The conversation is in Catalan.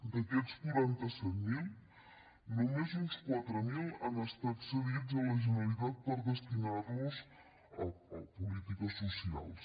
d’aquests quaranta set mil només uns quatre mil han estat cedits a la generalitat per destinar los a polítiques socials